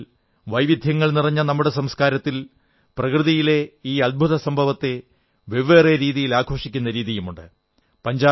എന്നാൽ വൈവിധ്യങ്ങൾ നിറഞ്ഞ നമ്മുടെ സംസ്കാരത്തിൽ പ്രകൃതിയിലെ ഈ അത്ഭുത സംഭവത്തെ വെവ്വേറെ രീതികളിൽ ആഘോഷിക്കുന്ന രീതിയുമുണ്ട്